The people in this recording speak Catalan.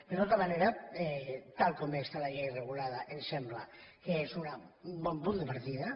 de tota manera tal com està la llei regulada ens sembla que és un bon punt de partida